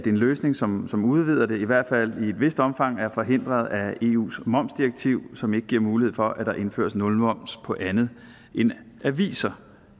en løsning som som udvider det i hvert fald i et vist omfang er forhindret af eus momsdirektiv som ikke giver mulighed for at der indføres nulmoms på andet end aviser